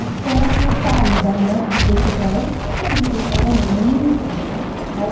Até que eu saí da NET, depois fui para aí e começaram a vir outros convites e tal. Mas